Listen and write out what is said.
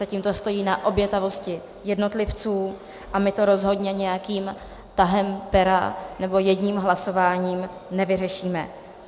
Zatím to stojí na obětavosti jednotlivců a my to rozhodně nějakým tahem pera nebo jedním hlasováním nevyřešíme.